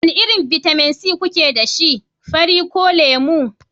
wane irin bitamin C kuke da shi, fari ko lemu?